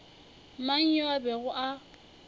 mang yo a bego a